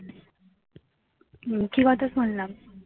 হম কি কথা শুনলাম